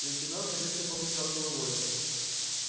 лейтенант резко покачал головой